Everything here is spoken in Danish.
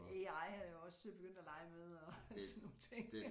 AI er jeg også begyndt at lege med og sådan nogle ting